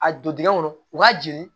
A don dingɛn kɔnɔ u b'a jeni